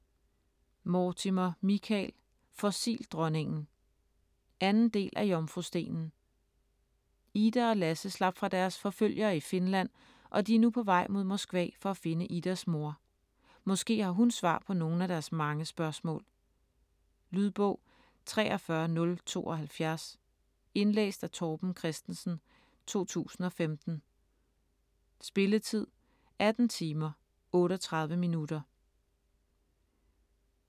Mortimer, Michael: Fossildronningen 2. del af Jomfrustenen. Ida og Lasse slap fra deres forfølgere i Finland og de er nu på vej mod Moskva for at finde Idas mor. Måske har hun svar på nogle af deres mange spørgsmål. Lydbog 43072 Indlæst af Torben Christensen, 2015. Spilletid: 18 timer, 38 minutter.